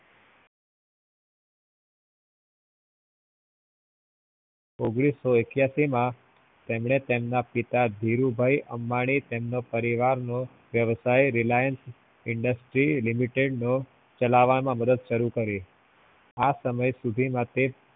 ઓગ્આનીસ્સો એક્યાસી માં એમને તેમના પિતા ધિરુભૈ અંબાની તેમનું પરિવાર નું વ્યવસાય Reliance industry limited નું ચાલવા માં શુરુ કરી આ સમય સુધી માટે